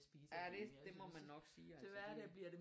Ja det det må man nok sige altså det